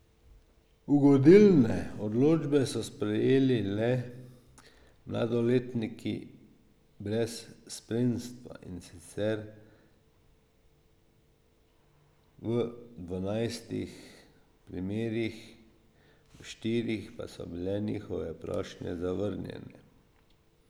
Ugodilne odločbe so prejeli le mladoletniki brez spremstva, in sicer v dvanajstih primerih, v štirih pa so bile njihove prošnje zavrnjene.